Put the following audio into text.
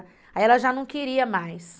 Aí ela já não queria mais.